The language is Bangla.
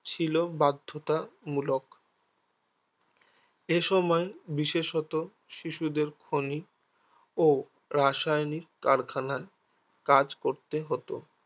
ছিল বাধ্যতা মূলক এসময়ে বিশেষত শিশুদের খৈনি ও রাসায়নিক কারখানায় কাজ করতে হতো